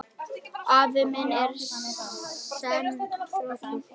Afl mitt er senn þrotið.